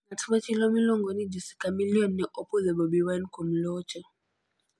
Ng'at machielo miluongo ni Jose Chameleone ne opuoyo Bobi Wine kuom locho: